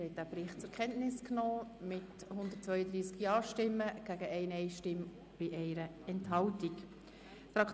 Sie haben diesen Bericht mit 132 Ja-Stimmen gegen 1 Nein-Stimme bei 1 Enthaltung zur Kenntnis genommen.